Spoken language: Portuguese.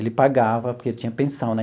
Ele pagava, porque tinha pensão, né?